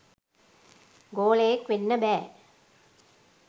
ගෝලයෙක් වෙන්න බෑ